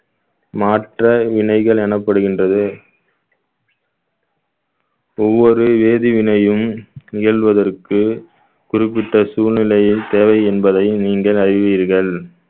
மாற்ற வினைகள் எனப்படுகின்றது ஒவ்வொரு வேதிவினையும் நிகழ்வதற்கு குறிப்பிட்ட சூழ்நிலையில் தேவை என்பதை நீங்கள் அறிவீர்கள்